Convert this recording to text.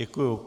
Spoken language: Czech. Děkuji.